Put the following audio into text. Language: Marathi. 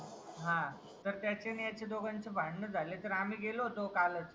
तर त्यांचे आणि ह्याचे या दोघांचे भांडणं झाली तर आम्ही गेलो होतो कालच